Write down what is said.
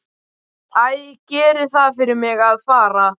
Æ, gerið það fyrir mig að fara.